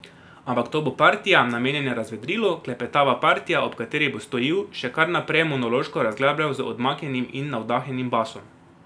Ampak, to bo partija, namenjena razvedrilu, klepetava partija, ob kateri bo Stojil še kar najprej monološko razglabljal z odmaknjenim in navdahnjenim basom.